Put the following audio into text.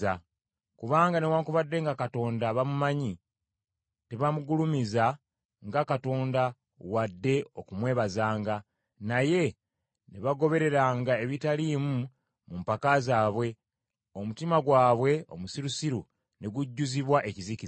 Kubanga newaakubadde nga Katonda bamumanyi, tebaamugulumiza nga Katonda wadde okumwebazanga, naye ne bagobereranga ebitaliimu mu mpaka zaabwe, omutima gwabwe omusirusiru ne gujjuzibwa ekizikiza.